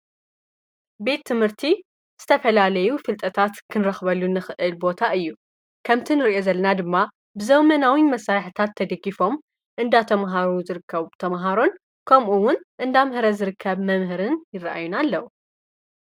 ቤት ትምህርቲ ዝተፈላለዩ ፍልጠታት ክንረኽበሉ ንኽእል ቦታ እዩ ከምቲ ንርእኢ ዘለና ድማ ብዘው መናዊ መሳይሕታት ተድጊፎም እንዳተምሃሩ ዝርከቡ ተምሃሮን ከምኡውን እንዳምህረ ዝርከብ መምህርን ይረአዩና ኣለዉ።